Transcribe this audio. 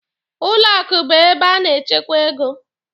Ụlọ akụ bụ ebe a na-echekwa ego.